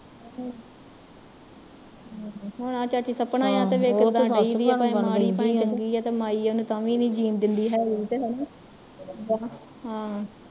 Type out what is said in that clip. ਹੁਣ ਆਹ ਚਾਚੀ ਸਪਨਾ ਭਾਂਵੇ ਚੰਗੀ ਆ ਤੇ ਮਾਈ ਉਹਨੂੰ ਤਾਂ ਵੀ ਨੀ ਜੀਣ ਦਿੰਦੀ ਹੈਗੀ ਹੈਨਾ ਹਾਂ